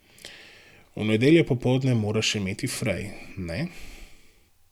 V nedeljo popoldne moraš imet frej, ne?